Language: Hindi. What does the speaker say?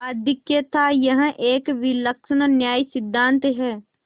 आधिक्य थायह एक विलक्षण न्यायसिद्धांत है